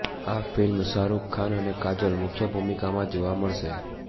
આ ફિલ્મ શાહરૂખ ખાન અને કાજોલ મુખ્યભૂમિકામાં જોવા મળશે